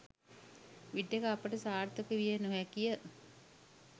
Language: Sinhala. විටෙක අපට සාර්ථක විය නොහැකිය.